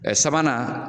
Sabanan